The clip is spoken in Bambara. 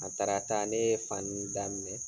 A tarata ne ye fani daminɛ.